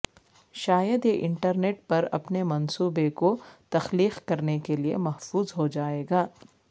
شاید یہ انٹرنیٹ پر اپنے منصوبے کو تخلیق کرنے کے لئے محفوظ ہو جائے گا